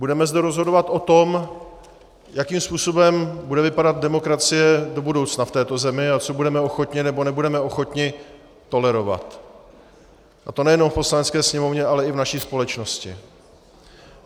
Budeme zde rozhodovat o tom, jakým způsobem bude vypadat demokracie do budoucna v této zemi a co budeme ochotni, nebo nebudeme ochotni tolerovat, a to nejenom v Poslanecké sněmovně, ale i v naší společnosti.